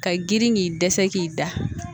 Ka girin k'i dɛsɛ k'i da